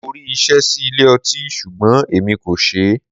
Mo rí iṣẹ́ sí ilé ọtí ṣùgbọ́n èmi kò ṣeé.